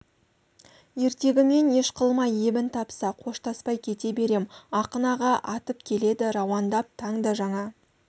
ертегімен еш қылмай ебін тапса қоштаспай кете берем ақын аға атып келеді рауандап таң да жаңа